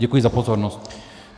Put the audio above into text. Děkuji za pozornost.